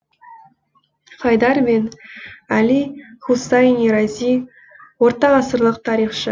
хайдар бен әли хусайни рази ортағасырлық тарихшы